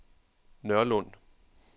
Nørlund